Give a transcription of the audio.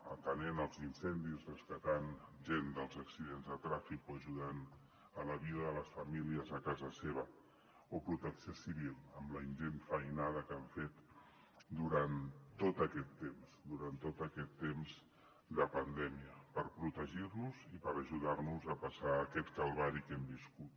atenent els incendis rescatant gent dels accidents de trànsit o ajudant en la vida de les famílies a casa seva o protecció civil amb la ingent feinada que han fet durant tot aquest temps durant tot aquest temps de pandèmia per protegir nos i per ajudar nos a passar aquest calvari que hem viscut